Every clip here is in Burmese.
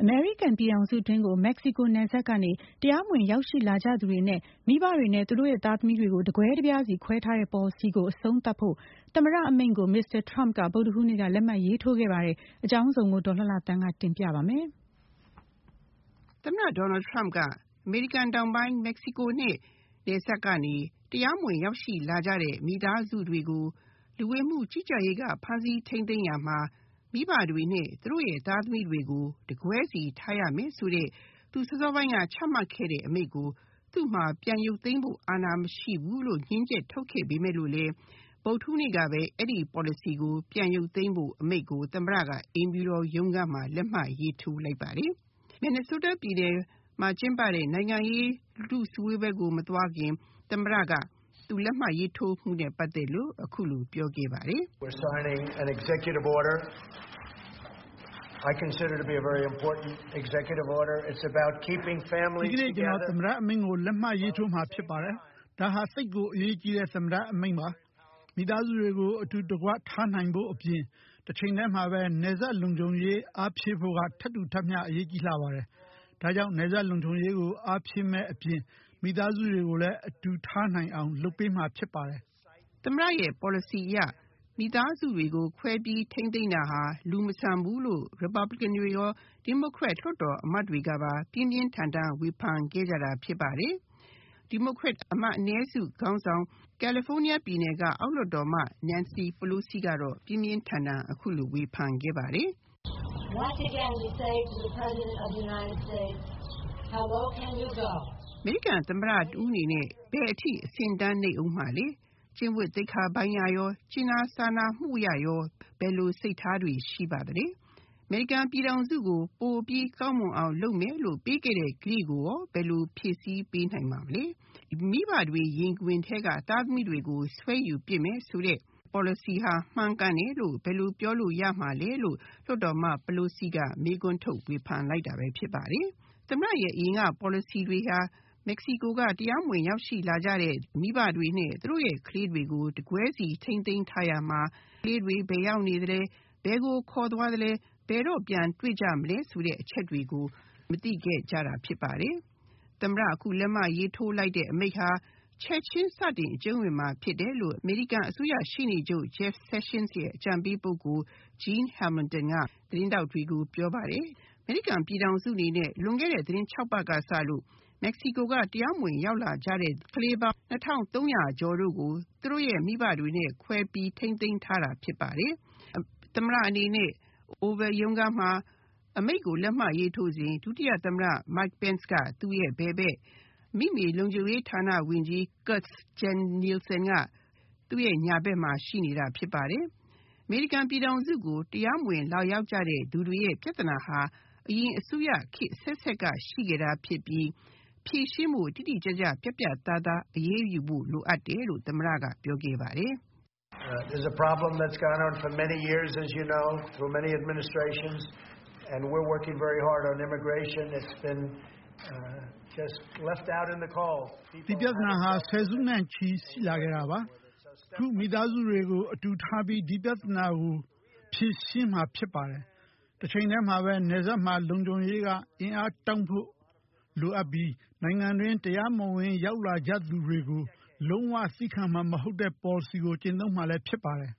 အမေရိကန်ုပြည်ထောင်စုကို Mexico နယ်စပ်ကနေ တရားမဝင်ရောက်ရှိလာကြသူတွေအနက် မိဘတွေနဲ့ သူတို့ရဲ့သားသမီးတွေကို တကွဲတပြားစီခွဲထားတဲ့ ပေါ်လစီကို အဆုံးသတ်ဖို့ သမ္မတ အမိန့်ကို Mr. Trump က ဗုဒ္ဒဟူးနေ့က လက်မှတ်ရေးထိုးခဲ့ပါတယ်၊၊ အကြောင်းစုံကို ဒေါ်လှလှသန်းက တင်ပြမှာပါ၊၊ သမ္မတ Donald Trump က အမေရိကန်တောင်ပိုင်း မက္ကဆီကိုနဲ့ နယ်စပ်ကနေ တရားမဝင်ရောက်ရှိလာကြတဲ့ မိသားစုတွေကို လူဝင်မှုကြီးကြပ်ရေးက ဖမ်းဆီးထိမ်းသိန်းရာမှာ မိဘတွေနဲ့ သူတို့ သားသမီးတွေကို တကွဲစီထားရမယ်ဆိုတဲ့ သူစောစောပိုင်းက ချမှတ်ခဲ့တဲ့ အမိန့်ကို သူ့မှာ ပြန်ရုပ်သိမ်းဖို့ အာဏာမရှိဘူးလို့ ငြင်းချက် ထုတ်ခဲ့ပေမဲ့လည်း ဗုဒ္ဓဟူးနေ့က အဲဒီပေါ်လစီကို ပြန်ရုပ်သိမ်းဖို့ အမိန့်ကို သမ္မတက အိမ်ဖြူတော်ရုံးခန်းမှာ လက်မှတ်ရေးထိုးလိုက်ပါတယ်။ Minnesota ပြည်နယ်မှာကျင်းပတဲ့ နိုင်ငံရေးလူထုစည်းဝေးပွဲကို မသွားခင် သမ္မတက လက်မှတ်ရေးထိုးမှုနဲ့ ပတ်သက်လို့ အခုလိုပြောခဲ့ပါတယ်။ “ ဒီကနေ့ ကျနော် သမ္မတ အမိန့်ကို လက်မှတ်ရေးထိုးမှာဖြစ်ပါတယ်။ ဒါဟာ သိပ်ကိုအရေးကြီးတဲ့ သမ္မတ အမိန့်ပါ။ မိသားစုတွေကို အတူတကွထားနိုင်ဖို့အပြင် တချိန်တည်းမှာပဲ နယ်စပ်လုံခြုံရေး အားဖြည့်ဖို့က ထပ်တူထပ်မျှ အရေးကြီးလှပါတယ်။ ဒါကြောင့် နယ်စပ်လုံခြုံရေးကို အားဖြည့်မယ့်အပြင် မိသားစုတွေကိုလည်း အတူထားနိုင်အောင် လုပ်ပေးမှာဖြစ်ပါတယ်။” သမ္မတရဲ့ ပေါ်လစီအရ မိသားစုတွေကို ခွဲပြီး ထိမ်းသိန်းတာဟာ လူမဆန်ဘူးလို့ ရီပါပလင်ကန်တွေရော၊ ဒီမိုကရက် လွှတ်တော်အမတ်တွေကပါ ပြင်းပြင်းထန်ထန်ဝေဖန်ခဲ့ကြတာဖြစ်ပါတယ်။ ဒီမိုကရက် အနည်းစုခေါင်းဆောင် ကယ်လီဖိုနီးယားပြည်နယ်က အောက်လွှတ်တော်အမတ် နန်စီပလိုစီကတော့ ပြင်းပြင်းထန်ထန် အခုလိုဝေဖန်ခဲ့ပါတယ်။ “အမေရိကန်သမ္မတ တဦးအနေနဲ့ ဘယ်အထိ အဆင့်အတန်းနိမ့်အုံးမှာလဲ။ ကျင့်ဝတ်သိက္ခာပိုင်းအရရော၊ ကြင်နာစာနာမှုအရရော ဘယ်လို စိတ်ထားတွေ ရှိပါသလဲ။ အမေရိကန်ပြည်ထောင်စုကို ပိုပြီးကောင်းမွန်အောင် လုပ်မယ်လို့ ပေးခဲ့တဲ့ ကတိကိုရော ဘယ်လို ဖြည့်ဆည်းပေးနိုင်ပါမလဲ။ မိဘတွေ ရင်ခွင်ထဲက သားသမီးတွေကို ဆွဲယူပစ်မယ်ဆိုတဲ့ ပေါ်လစီဟာ မှန်ကန်တယ်လို့ ဘယ်လိုပြောလို့ရမှာလဲ။” သမ္မတရဲ့ အရင်က ပေါ်လစီတွေဟာ မက္ကဆီကိုက တရားမဝင်ရောက်ရှိလာကြတဲ့ မိဘတွေနဲ့ သူတို့နဲ့ ရောက်ရှိလာကြတဲ့ ကလေးတွေကို တကွဲစီထိမ်းသိန်းထားရာမှာ ကလေးတွေဘယ်ရောက်နေသလဲ၊ ဘယ်ကိုခေါ်သွားသလဲ၊ ဘယ်တော့ ပြန်တွေ့ကြမလဲ ဆိုတဲ့အချက်တွေကို မသိခဲ့ကြတာဖြစ်ပါတယ်။ သမ္မတ အခုလက်မှတ်ရေးထိုးလိုက်တဲ့ အမိန့်ဟာ ချက်ချင်းစတင် အကျုံးဝင်မှာဖြစ်တယ်လို့ အမေရိကန်အစိုးရ ရှေ့နေချုပ် Jeff Sessions ရဲ့ အကြံပေး ပုဂ္ဂိုလ် Jean Hamilton က သတင်းထောက်တွေကို ပြောပါတယ်။ အမေရိကန်ပြည်ထောင်စုအနေနဲ့ လွန်ခဲ့တဲ့ သတင်းခြောက်ပတ်က စလို့ မက္ကဆီကိုက တရားမဝင်ရောက်လာကြတဲ့ ကလေးပေါင်း ၂,၃၀၀ ကျော်တို့ကို သူတို့ရဲ့မိဘတွေနဲ့ ခွဲပြီး ထိမ်းသိန်းထားတာဖြစ်ပါတယ်။ သမ္မတ အနေနဲ့ Oval ရုံးခန်းမှာ အမိန့်ကိုလက်မှတ်ရေးထိုးစဉ် ဒုတိယသမ္မတ Mike Pence ကသူရဲ့ဘယ်ဘက်၊ အမိမြေလုံခြုံရေးဌာန ဝန်ကြီး Kirstjen Nielsen က သူရဲ့ညာဘက် မှာရှိနေတာဖြစ်ပါတယ်။ အမေရိကန်ပြည်ထောင်စုကို တရားမဝင်လာရောက်ကြသူတွေရဲ့ ပြဿနာဟာ အရင်အစိုးရခေတ် အဆက်ဆက်ကရှိခဲ့တာဖြစ်ပြီး ဖြေရှင်းဖို့ တိတိကျကျ ပြတ်ပြတ်သားသား အရေးယူဖို့ လိုအပ်တယ်လို့ သမ္မတက ပြောခဲ့ပါတယ်။ “ဒီပြဿနာဟာ ဆယ်စုနှစ်ချီရှိလာခဲ့တာပါ။ ခုမိသားစုတွေကို အတူထားပြီး ဒီပြဿနာကို ဖြေရှင်းမှာဖြစ်ပါတယ်။ တချိန်တည်းမှာပဲ နယ်စပ်မှာ လုံခြုံရေး အင်အားတောင့်ဖို့ လိုအပ်ပြီး နိုင်ငံတွင်း တရားမဝင် ဝင်ရောက်လာကြသူတွေကို လုံးဝသည်းခံမှာ မဟုတ်တဲ့ ပေါ်လစီကို ကျင့်သုံးမှာလည်း ဖြစ်ပါတယ်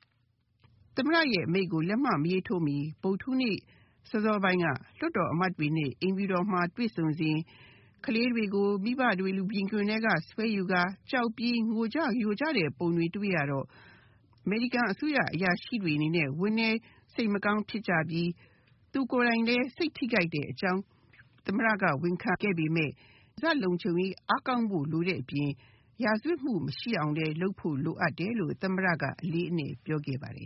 ။” သမ္မတရဲ့ အမိန့်ကို လက်မှတ်မရေးထိုးမှီ ဗုဒ္ဓဟူးနေ့ စောစောပိုင်းက လွှတ်တော်အမတ်တွေနဲ့ အိမ်ဖြူတော်မှာ တွေ့ဆုံစဉ်ကလေးတွေကို မိဘတွေရင်ခွင်ထဲက ဆွဲယူကာ ကြောက်ပြီး ငိုကြယိုကြတဲ့ ပုံတွေ တွေ့ရတော့ အမေရိကန်အစိုးရ အရာရှိတွေအနေနဲ့ ဝမ်းနည်းစိတ်မကောင်းဖြစ်ကြပြီး သူကိုယ်တိုင်လည်း စိတ်ထိခိုက်တဲ့အကြောင်း သမ္မတက ဝန်ခံခဲ့ပေမယ့် နယ်စပ်လုံခြုံရေးအားကောင်းဖို့ လိုတဲ့အပြင် ရာဇဝတ်မှုမရှိအောင်လည်း လုပ်ဖို့လိုအပ်တယ်လို့ သမ္မတက အလေးအနက်ပြောခဲ့ပါတယ်